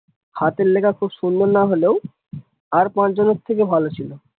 হাতের লেখা খুব সুন্দর না হলেও আর পাঁচ জনের থেকে ভালো ছিল।